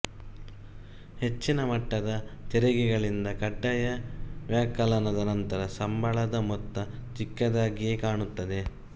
ಹೆಚ್ಚಿನ ಮಟ್ಟದ ತೆರಿಗೆಗಳಿಂದ ಕಡ್ಡಾಯ ವ್ಯವಕಲನದ ನಂತರ ಸಂಬಳದ ಮೊತ್ತ ಚಿಕ್ಕದಾಗಿಯೇ ಕಾಣುತ್ತದೆ